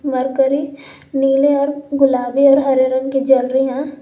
Mercury नीले और गुलाबी और हरे रंग की जल रही हैं।